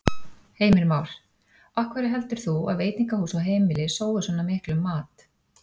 Heimir Már: Af hverju heldur þú að veitingahús og heimili sói svona miklum mat?